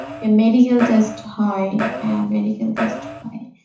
medical test হয়, হ্যাঁ medical test হয়